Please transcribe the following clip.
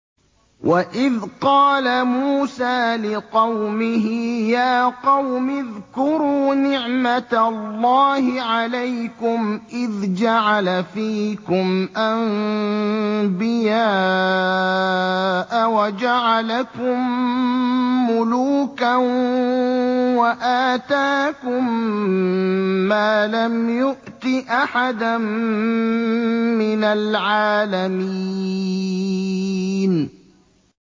وَإِذْ قَالَ مُوسَىٰ لِقَوْمِهِ يَا قَوْمِ اذْكُرُوا نِعْمَةَ اللَّهِ عَلَيْكُمْ إِذْ جَعَلَ فِيكُمْ أَنبِيَاءَ وَجَعَلَكُم مُّلُوكًا وَآتَاكُم مَّا لَمْ يُؤْتِ أَحَدًا مِّنَ الْعَالَمِينَ